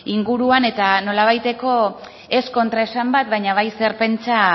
inguruan eta nolabaiteko ez kontraesan bat baina bat zer pentsa